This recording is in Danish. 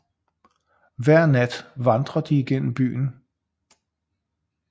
Hver nat vandrer de gennem byen